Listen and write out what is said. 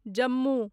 Jammu